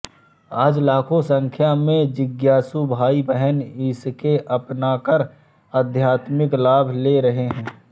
आज लाखों संख्या में जिज्ञासु भाई बहन इसको अपनाकर आध्यात्मिक लाभ ले रहें है